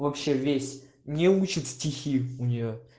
вообще весь не учат стихи у неё